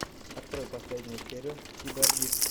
открой последнюю серию киборгик